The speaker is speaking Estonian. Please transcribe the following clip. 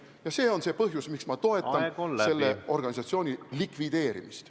... ja see on see põhjus, miks ma toetan selle organisatsiooni likvideerimist.